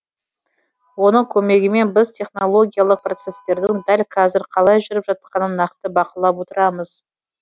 оның көмегімен біз технологиялық процесстердің дәл қазір қалай жүріп жатқанын нақты бақылап отырамыз